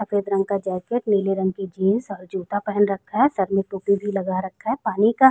सफेद रंग का जैकेट नीले रंग की जीन्स औ जूता पहन रखा है। सर में टोपी भी लगा रखा है। पानी का --